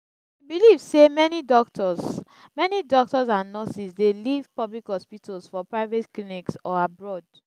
i dey believe say many doctors many doctors and nurses dey leave public hospitals for private clinics or abroad.